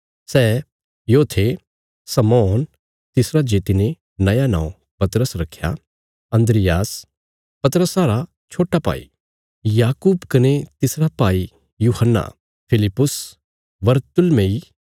सै यो थे शमौन तिसरा जे तिने नया नौं पतरस रक्खया अन्द्रियास पतरसा रा छोट्टा भाई याकूब कने तिसरा भाई यूहन्ना फिलिप्पुस बरतुल्मै